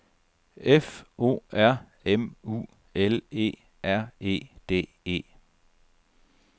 F O R M U L E R E D E